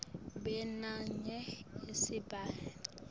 b namunye esigabeni